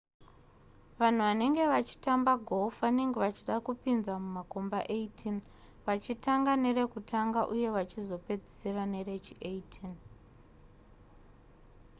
vanhu vanenge vachitamba golf vanenge vachida kupinza mumakomba 18 vachirtanga nerekutanga uye vachizopedzisira nerechi18